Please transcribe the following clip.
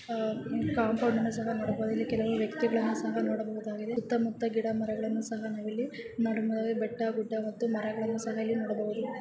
Compound ಅನ್ನು ಸಹ ನೋಡಬೋದು ಇಲ್ಲಿ ಕೆಲವು ವ್ಯಕ್ತಿಗಳನ್ನ ಸಹ ನೋಡಬಹುದಾಗಿದೆ ಸುತ್ತ ಮುತ್ತ ಗಿಡ ಮರಗಳನ್ನು ನಾವಿಲ್ಲಿ ಬೆಟ್ಟ ಗುಡ್ಡ ಮರಗಳನ್ನು ನಾವಿಲ್ಲಿ ನೋಡ್ ಬಹುದು .